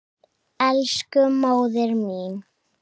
Elsku móðir mín.